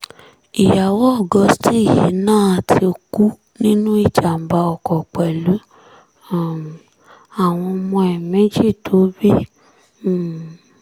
ìyàwó augustine yìí náà ti kú nínú ìjàm̀bá ọkọ̀ pẹ̀lú um àwọn ọmọ ẹ̀ méjì tó bí um